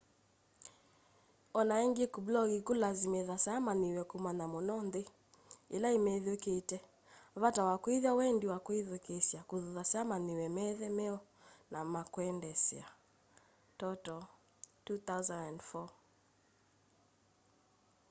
onaingi kublog kulasimithasya amanyiwa kumanya muno nthi ila imethiũũkite. vata wa kuithya wendi wa ethukiisya kuthuthasya amanyiwa methe me oi na makwendeesya toto 2004